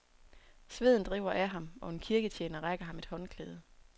Sveden driver af ham, og en kirketjener rækker ham et håndklæde.